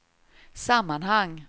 sammanhang